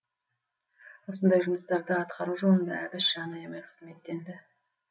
осындай жұмыстарды атқару жолында әбіш жан аямай қызметтенді